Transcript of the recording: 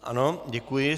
Ano, děkuji.